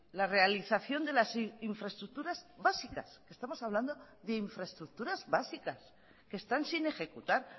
la realización de las infraestructuras básicas estamos hablando de infraestructuras básicas que están sin ejecutar